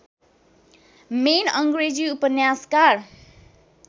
main अङ्ग्रेजी उपन्यासकार